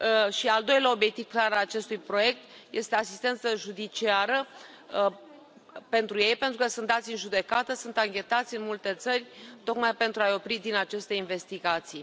Și al doilea obiectiv clar al acestui proiect este asistență judiciară pentru ei, pentru că sunt dați în judecată, sunt anchetați în multe țări tocmai pentru a i opri din aceste investigații.